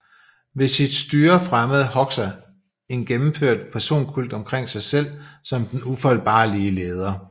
Ved sit styre fremmede Hoxha en gennemført personkult om sig selv som den ufejlbarlige leder